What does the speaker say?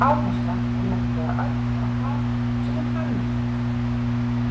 Áherslan er nefnilega öll á það sem er „hagnýtt“.